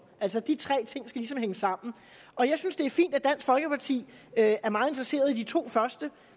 altså de tre ting skal ligesom hænge sammen og jeg synes det er fint at dansk folkeparti er er meget interesseret i de to første